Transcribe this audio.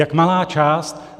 Jak malá část!